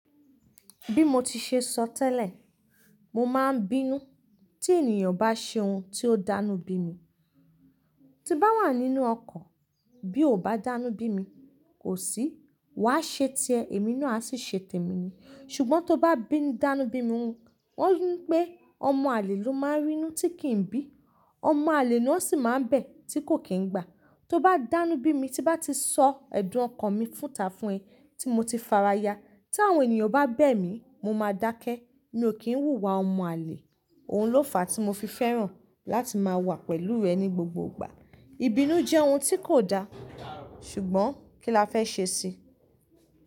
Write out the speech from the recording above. Bí mo ti ṣe sọ tẹ́lẹ̀, mo máa ń bínú tí ènìyàn bá ṣe ohun tí ó dánú bí mi. Tí bá wà nínú ọkọ̀, bí o ò bá dánú bí mi, kò sí, wà á ṣe ti ẹ, èmi náà asì ṣe tèmi ni. Ṣùgbọ́n tó bá bínú dánú bí mi wọ́n ńi pè ọmọ àlè ló máa ń rínú tí kì n bí, ọmọ àlè lo sì máa ń bẹ̀ tí kò kì í gbà. Tó bá dánú bí mi tí bá ti sọ ẹ̀dùn ọkan mi fúnta fún ẹ tí mo ti faraya. Tí àwọn ènìyàn bá bẹ̀ mí, mo máa dákẹ́. Mi ò kí ń hùwà ọmọ àlè. Òun ló fàá tí mo fi fẹ́ràn láti máa wà pẹ̀lú rẹ ní gbogbo ìgbà. Ìbínú jẹ́ ohun tí kò da, ṣùgbọ́n kí la fẹ́ ṣe sí i?